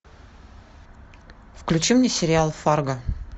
включи мне сериал фарго